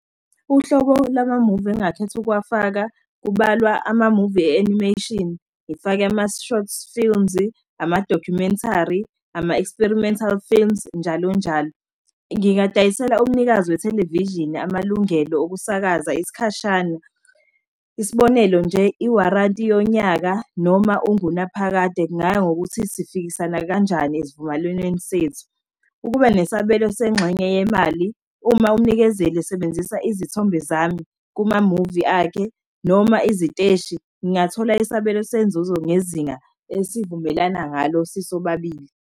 Uhlobo lwama-movie engakhetha ukuwafaka, kubalwa ama-movie e-animation, ngifake ama-short films-i, ama-documentary, ama-experimental films-i, njalonjalo. Ngingadayisela umnikazi we-television, amalungelo okusakaza isikhashana, isibonelo nje i-warranty yonyaka noma ungunaphakade kungangokuthi sifikisana kanjani esivumelwaneni sethu. Ukuba nesabelo sengxenye yemali, uma umnikezeli esebenzisa izithombe zami kumamuvi akhe noma iziteshi, ngingathola isabelo senzuzo ngezinga esivumelana ngalo sisobabili.